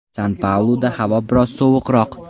San-Pauluda havo biroz sovuqroq.